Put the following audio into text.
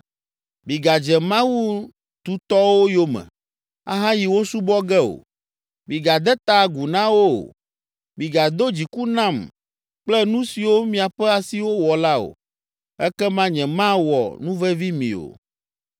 Migadze mawu tutɔwo yome, ahayi wo subɔ ge o. Migade ta agu na wo o, migado dziku nam kple nu siwo miaƒe asiwo wɔ la o. Ekema nyemawɔ nuvevi mi o.”